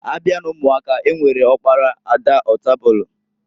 Abia n'umuaka, e nwere ọkpara, ada, ọtabulu.